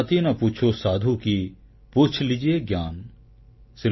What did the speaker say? ଜାତି ନ ପୁଛୋ ସାଧୁ କୀ ପୁଚ୍ଛ୍ ଲୀଜିୟେ ଜ୍ଞାନ୍